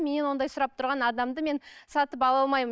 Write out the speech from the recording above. мен ондай сұрап тұрған адамды мен сатып ала алмаймын